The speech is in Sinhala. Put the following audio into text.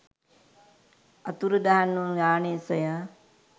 අතුරුදන් වූ යානය සොයා